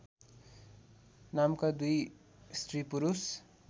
नामका दुई स्त्रीपुरुष